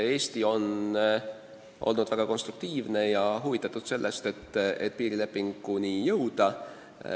Eesti on olnud väga konstruktiivne ja huvitatud sellest, et piirilepinguni jõuda.